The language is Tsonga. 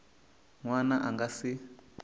n wana a nga si